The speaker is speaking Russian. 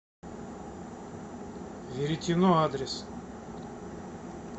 веретено адрес